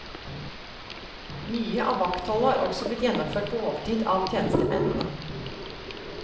Mye av vaktholdet har også blitt gjennomført på overtid avtjenestemennene.